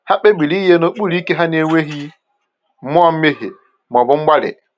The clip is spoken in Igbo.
Ha kpebiri inye n’okpuru ike ha n’enweghị mmụọ mmehie ma ọ bụ mgbali.